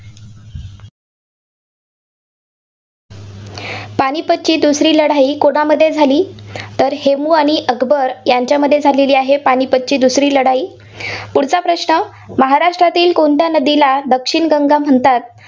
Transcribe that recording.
पानीपतची दुसरी लढाई कोणामध्ये झाली? तर हेमू आणि अकबर यांच्यामध्ये झालेली आहे, पानीपतची दुसरी लढाई. पुढचा प्रश्न आहे, महाराष्ट्रातील कोणत्या नदीला दक्षिण गंगा म्हणतात?